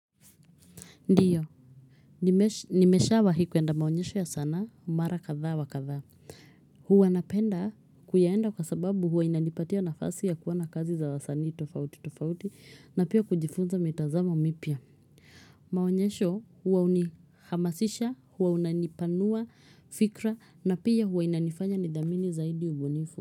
Ndio, nimeshawahi kuenda maonyesho ya sana, mara kadha wa kadha. Huwa napenda kuyaenda kwa sababu huwa inanipatia nafasi ya kuona kazi za wasani tofauti tofauti na pia kujifunza mitazam mipya. Maonyesho huwa unihamasisha, huwa unanipanua fikra na pia huwa inanifanya nithamini zaidi ubunifu.